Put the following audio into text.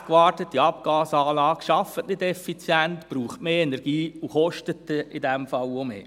Eine schlecht gewartete Abgasanlage arbeitet nicht effizient, braucht mehr Energie und kostet in diesem Fall auch mehr.